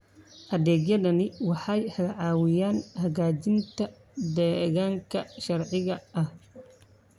Adeegyadani waxay caawiyaan hagaajinta deegaanka sharciga ah.